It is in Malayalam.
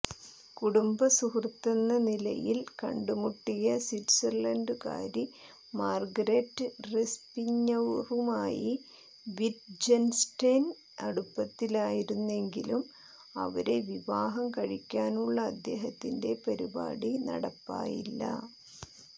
കുടുംബസുഹൃത്തെന്ന നിലയിൽ കണ്ടുമുട്ടിയ സ്വിറ്റ്സർലണ്ടുകാരി മാർഗരെറ്റ് റെസ്പിഞ്ഞറുമായി വിറ്റ്ജൻസ്റ്റൈൻ അടുപ്പത്തിലായിരുന്നെങ്കിലും അവരെ വിവാഹം കഴിക്കാനുള്ള അദ്ദേഹത്തിന്റെ പരിപാടി നടപ്പായില്ല